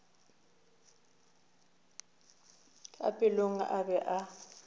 ka pelong a be a